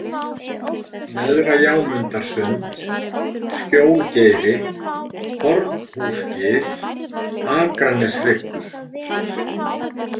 Neðra-Jámundarsund, Skjólgeiri, Hornhúsgil, Akraneshryggur